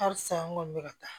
Halisa n kɔni bɛ ka taa